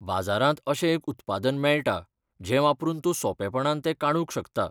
बाजारांत अशें एक उत्पादन मेळटा, जें वापरून तूं सोंपेपणान तें काडूंक शकता.